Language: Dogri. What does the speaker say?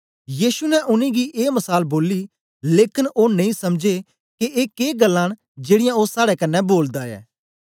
यीशु ने उनेंगी ए मसाल बोली लेकन ओ नेई समझे के ए के ग्ल्लां न जेड़ीयां ओ साड़े कन्ने बोलदा ऐ